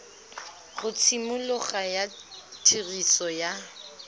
ga tshimologo ya tiriso ya